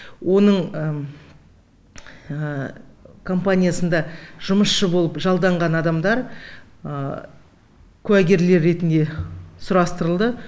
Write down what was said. оның компаниясында жұмысшы болып жалданған адамдар куәгерлер ретінде сұрастырылды